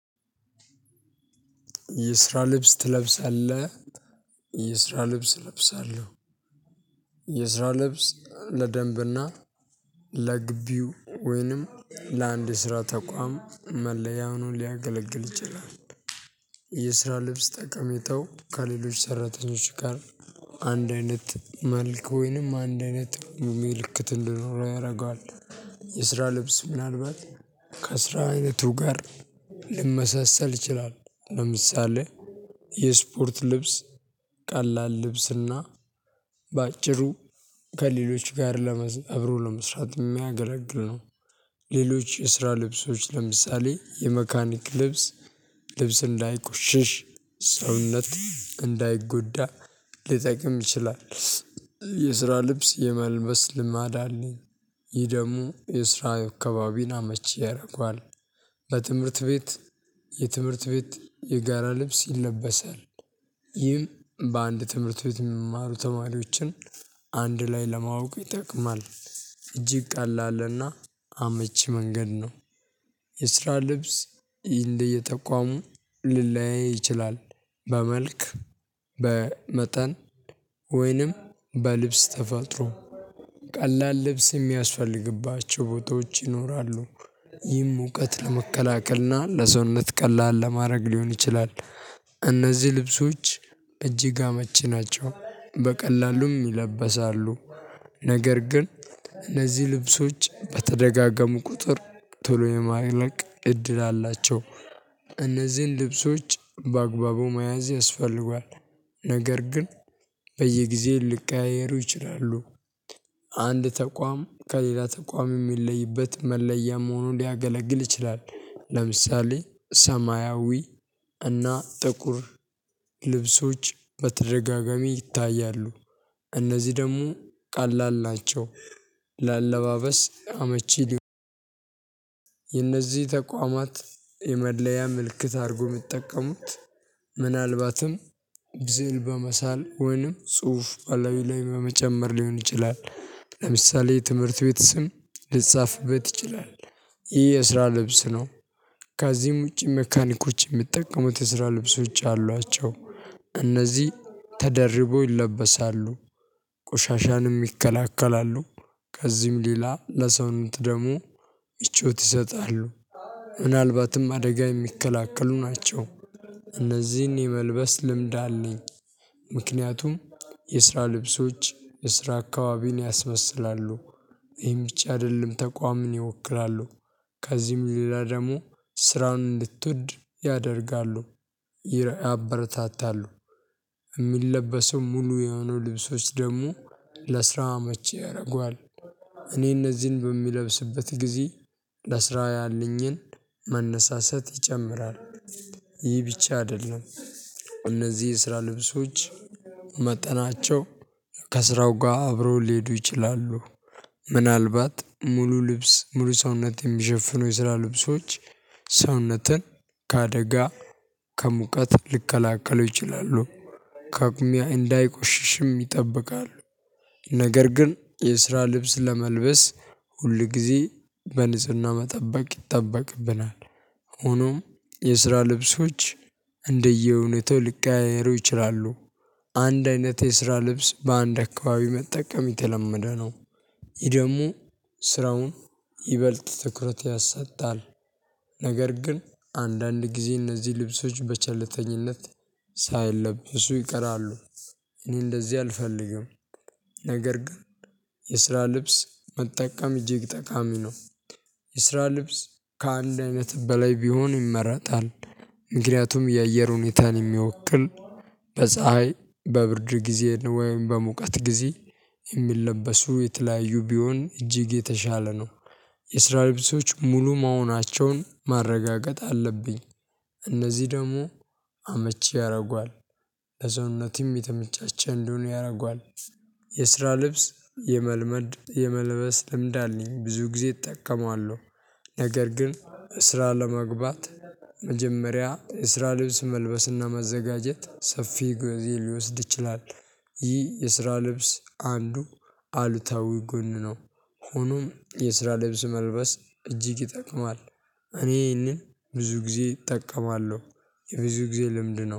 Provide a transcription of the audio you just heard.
የስራ ልብስ ትለብሳለህ? የስራ ልብስ እለብሳለሁ። የስራ ልብስ ለደንብና ለግቢው ወይንም ለአንድ ስራ ተቋም መለያውን ሊያገለግል ይችላል። የስራ ልብስ ጠቀሜታው ከሌሎች ሰራተኞች ጋር አንድ አይነት መልክ ወይንም አንድ አይነት ምልክት እንድኖር የስራ ልብስ ምናልባት ከስራ አይነቱ ጋር ሊመሰሰል ይችላል። ለምሳሌ የስፖርት ልብስ ቀላል ልብስና በአጭሩ ከሌሎች ጋር ለመዝ አብሮ ለመስራት የሚያገለግል ነው። ሌሎች የስራ ልብሶች ለምሳሌ የመካኒክ ልብስ ልብስ እንዳይቆሽሽ ሰውነት እንዳይጎዳ ሊጠቅም ይችላል። የስራ ልብስ የመልበስ ልማድ አለኝ። ይህ ደግሞ የስራ አካባቢን አመቺ ያደርገዋል። በትምህርት ቤት የትምህርት ቤት የጋራ ልብስ ይለበሳል። ይህም በአንድ ትምህርት ቤት የሚማሩ ተማሪዎችን አንድ ላይ ለማወቅ ይጠቅማል። እጅግ ቀላል እና አመቺ መንገድ ነው። የስራ ልብስ እንደየጠቋሙ ሊለያይ ይችላል። በመልክ በመጠን ወይንም በልብስ ተፈጥሮ ቀላል ልብስ የሚያስፈልግባቸው ቦታዎች ይኖራሉ። ይም እውቀት ለመከላከልና ለሰውነት ቀላል ለማድረግ ሊሆን ይችላል። እነዚህ ልብሶች እጅግ አመቺ ናቸው በቀላሉም ይለበሳሉ። ነገር ግን እነዚህ ልብሶች በተደጋጋሙ ቁጥር ቶሎ የማይለቅ እድል አላቸው። እነዚህን ልብሶች በአግባቡ መያዝ ያስፈልጋል። ነገር ግን በየጊዜው ልቀያየሩ ይችላሉ። አንድ ተቋም ከሌላ ተቋም የሚለይበት መለያ መሆኑን ሊያገለግል ይችላል። ለምሳሌ ሰማያዊ እና ጥቁር ልብሶች በተደጋጋሚ ይታያሉ። እነዚህ ደግሞ ቀላል ናቸው። ለአለባበስ አመቺ የነዚህ ተቋማት የመድለያ ምልክት አድርጎ የምትጠቀሙት ምናልባትም ስዕል በመሳል ወይንም ጽሁፍ አለዊ ላይ በመጨመር ሊሆን ይችላል። ለምሳሌ ትምህርት ቤት ስም ሊጻፍበት ትችላለህ ይህ የስራ ልብስ ነው። ከዚህም ውጪ መካኒኮዎች የምትጠቀሙት የስራ ልብሶች አሏቸው። እነዚህ ተደርቦ ይለበሳሉ። ቆሻሻንም ይከላከላሉ። ከዚህም ሌላ ለሰውን ደግሙ ምቾት ይሰጣሉ። ምናልባትም አደጋ የሚከለክሉ ናቸው። እነዚህን የመልበስ ልምድ አለኝ። ምክንያቱም የስራ ልብሶች የስራ አካባቢን ያስመስላሉ። ወይም ብቻ አይደለም ተቋምን ይወክላሉ። ከዚህም ሌላ ደግሞ ስራውን እንድትወድ ያደርጋሉ። ያበረታታሉ። የሚለበሰው ሙሉ የሆኑ ልብሶች ደግሞ ለስራው መቼ ያደርገዋል። እኔ እነዚህን በሚለብስበት ጊዜ ለስራው ያለኝን መነሳሰት ይጨምራል። ይህ ብቻ አይደለም። እነዚህ የስራ ልብሶች መጠናቸው ከስራው ጋር አብሮ ሊሄዱ ይችላሉ። ምናልባት ሙሉ ልብስ ሙሉ ሰውነት የሚሸፍኑ የስራ ልብሶች ሰውነትን ከአደጋ ከሙቀት ልከላከለው ይችላሉ። ከጉሚያ እንዳይቆሽሽም ይጠብቃሉ። ነገር ግን የስራ ልብስ ለመልበስ ሁል ጊዜ በንጽህና መጠበቅ ይጠበቅብናል። ሆኖም የስራ ልብሶች እንደየእውነቱ ሊቀያየሩ ይችላሉ። አንድ አይነት የስራ ልብስ በአንድ አካባቢ መጠቀም የተለመደ ነው። ይሄ ደግሞ ስራውን ይበልጥ ትኩረት ያሳጣል። ነገር ግን አንዳንድ ጊዜ እነዚህ ልብሶች በቸልተኝነት ሳይለብሱ ይቀራሉ። እኔ እንደዚህ አልፈልግም። ነገር ግን የስራ ልብስ መጠቀም እጅግ ጠቃሚ ነው። የስራ ልብስ ከአንድ አይነት በላይ ቢሆን ይመረጣል። ምክንያቱም የአየር ሁኔታን የሚወክል በፀሀይ በብርድ ጊዜ ወይም በሙቀት ጊዜ የሚለበሱ የተለያዩ ቢሆን እጅግ የተሻለ ነው። የስራ ልብሶች ሙሉ መሆናቸውን ማረጋገጥ አለብኝ። እነዚህ ደግሞ አመቺ ያደርጓል። ለሰውነትም የተመቻቸ እንደሆነ ያደርጓል። የስራ ልብስ የመልመድ የመልበስ ልምድ አለኝ ብዙ ጊዜ እጠቀመዋለሁ። ነገር ግን ስራ ለመግባት መጀመሪያ የስራ ልብስ መልበስና ማዘጋጀት ሰፊ ጊዜ ሊወስድ ይችላል። ይህ የስራ ልብስ አንዱ አሉታዊ ጎን ነው። ሆኖም የስራ ልብስ መልበስ እጅግ ይጠቅማል። እኔ ይሄንን ብዙ ጊዜ እጠቀማለሁ። የብዙ ጊዜ ልምድ ነው